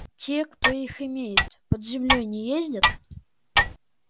те кто их имеет под землёй не ездят